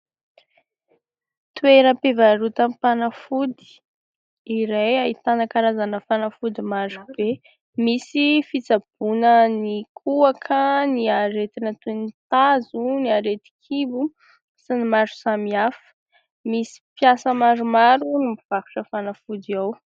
Toeram-pivarotam-panafody iray, ahitana karazana fanafody maro be, misy fitsabona ny kohaka, ny aretina toy ny tazo, ny aretin-kibo sy ny maro samy hafa. Misy mpiasa maromaro no mivarotra fanafody ao.